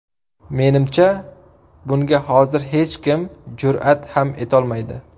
Menimcha, bunga hozircha hech kim jur’at ham etolmaydi.